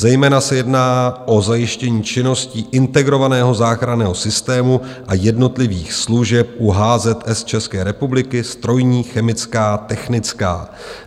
Zejména se jedná o zajištění činností integrovaného záchranného systému a jednotlivých služeb u HZS České republiky - strojní, chemická, technická.